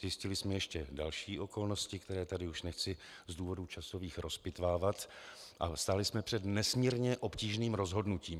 Zjistili jsme ještě další okolnosti, které tady už nechci z důvodů časových rozpitvávat, a stáli jsme před nesmírně obtížným rozhodnutím.